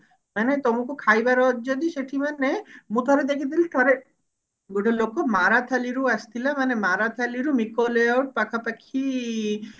ମାନେ ତମକୁ ଖାଇବାର ଅଛି ଯଦି ସେଠି ମାନେ ମୁଁ ଥରେ ଦେଖିଥିଲି ଥରେ ଗୋଟେ ଲୋକ ମାରାଥାଲି ରୁ ଆସିଥିଲା ମାନେ ମାରାଥାଲି ରୁ ମିକୋ layout ପାଖାପାଖି